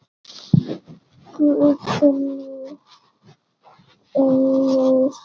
Guðný Unnur.